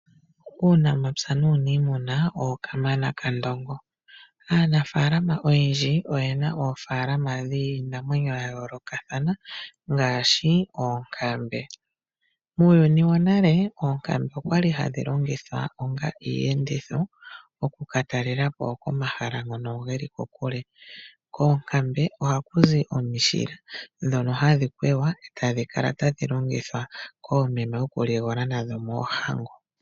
Uunamapya nuniimuna owo kamana kandongo. Aanafalama oyendji oyena oofalama dhinamwenyo yayoolokatha ngaashi, oonkambe. Muyuni wonale, oonkambe okwali hadhi longithwa onga iiyenditho, okukatalelapo komahala ngono geli kokule. Koonkambe ohaku zi omishila ndhono hadhi kwegwa, e tadhi kala tadhi longithwa koomeme okuligola moohango.